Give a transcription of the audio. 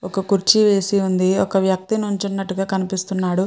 ఒక కుర్చీ వేసి ఉంది ఒక వ్యక్తి నించున్నట్టుగా కనిపిస్తున్నాడు.